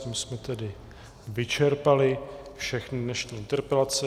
Tím jsme tedy vyčerpali všechny dnešní interpelace.